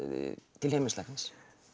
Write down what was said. til heimilislæknis